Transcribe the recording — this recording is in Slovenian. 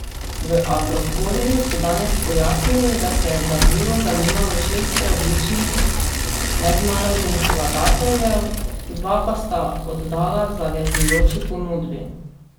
V Agrokorju so danes pojasnili, da se je za vilo zanimalo šest različnih mednarodnih vlagateljev, dva pa sta oddala zavezujoči ponudbi.